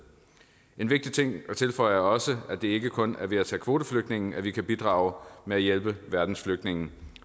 en vigtig ting at tilføje er også at det ikke kun er ved at tage kvoteflygtninge vi kan bidrage med at hjælpe verdens flygtninge